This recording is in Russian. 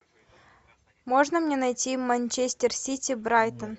можно мне найти манчестер сити брайтон